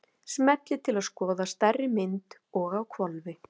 Smellið til að skoða stærri mynd- og á hvolfi!